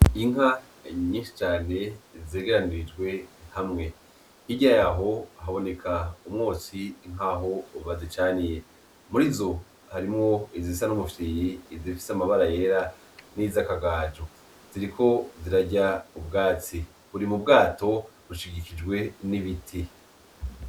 Inka nyinshi cane zegeranirijwe hamwe, hirya yaho haboneka umwotsi nkaho bazicaniye . Muri zo harimwo izisa n’umufyiri, izifise amabara yera ,n’izakagajo ziriko zirarya ubwatsi, buri mu bwato bushigikijwe n’ibiti.